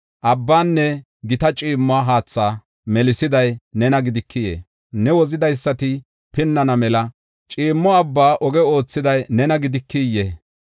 Abbaanne gita ciimmo haatha melisiday nena gidikiyee? Ne wozidaysati pinnana mela ciimmo abba oge oothiday nena gidikiyee?